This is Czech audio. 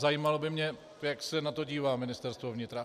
Zajímalo by mě, jak se na to dívá Ministerstvo vnitra.